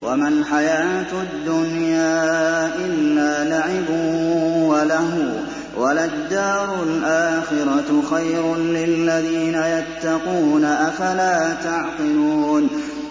وَمَا الْحَيَاةُ الدُّنْيَا إِلَّا لَعِبٌ وَلَهْوٌ ۖ وَلَلدَّارُ الْآخِرَةُ خَيْرٌ لِّلَّذِينَ يَتَّقُونَ ۗ أَفَلَا تَعْقِلُونَ